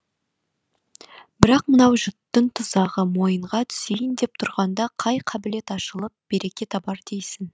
бірақ мынау жұттың тұзағы мойынға түсейін деп тұрғанда қай қабілет ашылып береке табар дейсің